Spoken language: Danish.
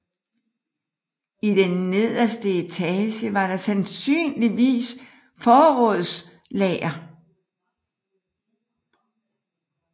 I den nederste etage var der sandsynligvis forrådslager